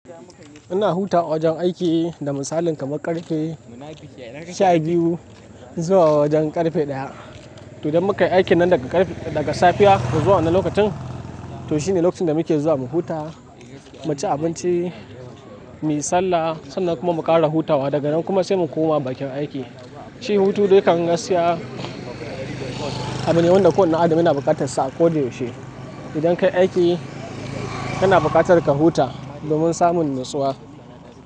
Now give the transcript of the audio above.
Ina hutawa a wajen aiki da misalin kamar ƙarfe sha biyu zuwa wajen ƙarfe ɗaya. To, idan muka yi aikin nan daga ƙarfe, daga safiya zuwa wannan lokacin, to shine lokacin da muke zuwa mu huta, mu ci abinci, mu yi sallah sannan kuma mu ƙara hutawa daga nan kuma sai mu koma bakin aiki. Shi hutu dai kan gaskiya abune wanda kowane dan adam yana buƙatar sa a koda yaushe. Idan ka yi aiki kana buƙatar ka huta domin samun natsuwa.